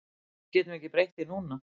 Við getum ekki breytt því núna